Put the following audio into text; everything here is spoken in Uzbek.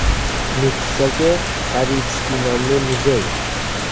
Nukusdagi Savitskiy nomli muzey.